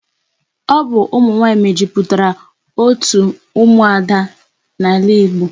Ọ bụ ụmụ nwaanyị mejupụtara otu ụmụada n'ala Igbo.